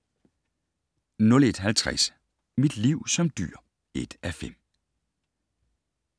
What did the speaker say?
01:50: Mit liv som dyr (1:5)